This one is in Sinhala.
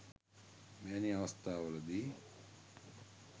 මෙවැනි අවස්ථාවල දී